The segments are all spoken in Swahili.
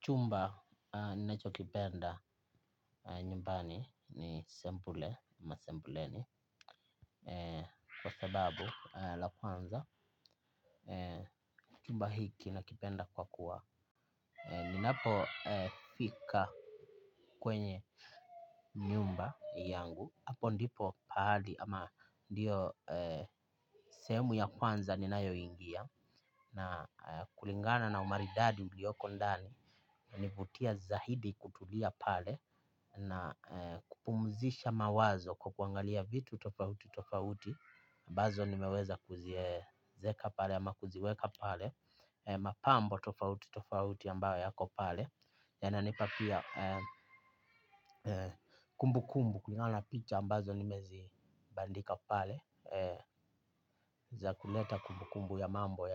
Chumba ninachokipenda nyumbani ni sebule ama Sebuleni. Kwa sababu la kwanza chumba hiki nakipenda kwa kuwa ninapo fika kwenye nyumba yangu. Apo ndipo pahali ama ndiyo sehemu ya kwanza ninayo ingia. Na kulingana na umaridadi ulioko ndani hunivutia zaidi kutulia pale na kupumzisha mawazo kwa kuangalia vitu tofauti-tofauti ambazo nimeweza kuziweka pale. Mapambo tofauti tofauti ambayo yako pale. Yananipa pia kumbukumbu ukiona picha ambazo nimezibandika pale. Za kuleta kumbukumbu ya mambo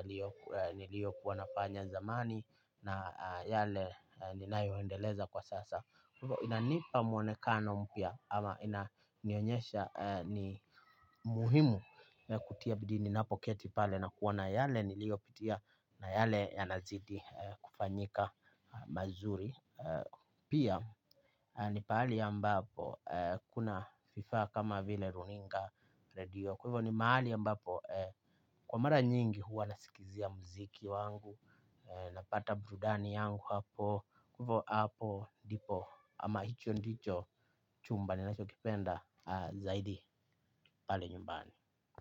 niliyokuwa nafanya zamani na yale ninayoendeleza kwa sasa kwa hivyo inanipa mwonekano mpya. Ama inanionyesha ni muhimu kutia bidii ninapoketi pale nakuona yale niliyopitia na yale yanazidi kufanyika mazuri. Pia ni pahali ambapo kuna vifaa kama vile runinga redio. Kwa hivyo ni mahali ambapo kwa mara nyingi huwa nasikizia muziki wangu. Napata burudani yangu hapo. Kwa hivyo hapo ndipo ama hicho ndicho chumba ninachokipenda. Zaidi pale nyumbani.